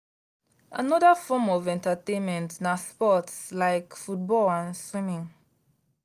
another form of entertainment na sports like football and swimming.